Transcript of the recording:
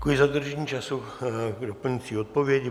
Děkuji za dodržení času k doplňující odpovědi.